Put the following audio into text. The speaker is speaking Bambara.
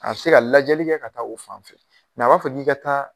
A bɛ se ka lajɛli kɛ ka taa o fan fɛ a b'a fɔ k'i ka taa